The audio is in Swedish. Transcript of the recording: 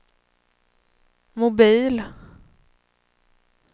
mobil